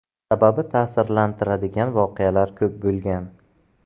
Sababi ta’sirlantiradigan voqealar ko‘p bo‘lgan.